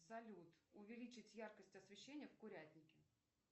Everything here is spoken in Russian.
салют увеличить яркость освещения в курятнике